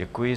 Děkuji.